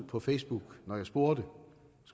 på facebook når jeg spurgte